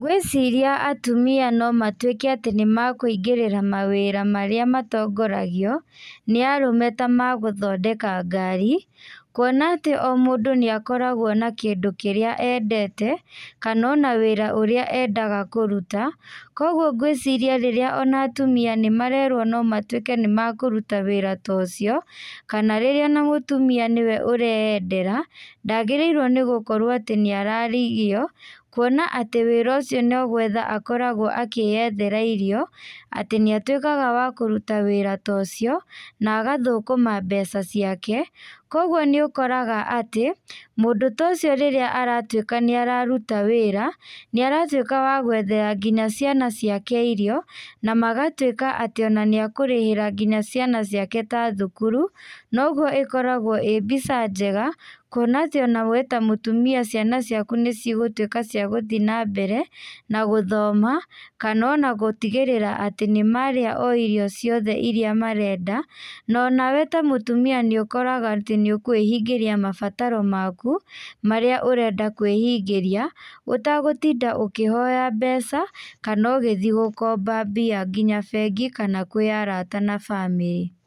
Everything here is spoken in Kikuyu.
Ngwĩciria atumia no matuĩke atĩ nĩ makũingĩrĩra mawĩra marĩa matongoragio nĩ arũme ta magũthondeka ngari. Kuona atĩ o mũndũ nĩ akoragwo na kĩndũ kĩrĩa endete kana ona wĩra ũria endaga kũruta. Kwoguo ngwĩciria rĩrĩa ona atumia nĩ marerwo no matuĩke nĩ makũruta wĩra ta ũcio kana rĩrĩa ona mũtumia nĩwe ũreyendera, ndagĩrĩirwo nĩ gũkorwo atĩ nĩ aragirio. Kwona atĩ wĩra ũcio no gwetha akoragwo akĩyethera irio. Atĩ nĩ atuĩkaga wa kũruta wĩra ũcio na agatũkũma mbeca ciake. Kwoguo nĩ ũkoraga atĩ mũndũ ta ũcio rĩrĩa aratuĩka atĩ nĩ araruta wĩra, nĩ aratuĩka wa gwethere nginya ciana ciake irio, na magatuĩka atĩ nginya nĩ ekũrĩhĩra ciana ciake ta thukuru. Noguo ĩkoragwo ĩĩ mbica njega kuona atĩ we ta mũtumia ciana ciaku nĩ cigũtuĩka cia gũthiĩ na mbere na gũthoma, kana ona gũtigĩrĩra atĩ nĩ marĩa o irio ciothe iria marenda. Na ona we ta mũtumia nĩ ũkoraga atĩ nĩ ũkwĩhingĩria mabataro maku marĩa ũrenda kwĩhingĩria, ũtagũtinda ũkĩhoya mbeca kana ũgũthiĩ gũkomba mbia nginya bengi kana kwĩ arata na bamĩrĩ.